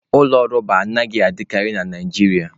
Ụlọ rọba anaghị adịkarị na Naijiria